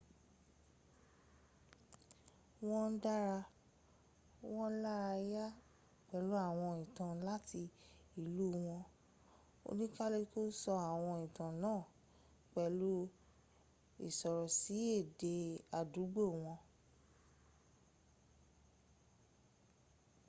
wọ́n ń dára wọn lára yá pẹ̀lú àwọn ìtàn láti ìlú wọn; oníkàlùkù sọ àwọn ìtàn náà pẹ̀lú ìsọ̀rọ̀sì èdè àdúgbò wọn